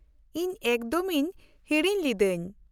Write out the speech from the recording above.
-ᱤᱧ ᱮᱠᱫᱚᱢᱤᱧ ᱦᱤᱲᱤᱧ ᱞᱤᱫᱟᱹᱧ ᱾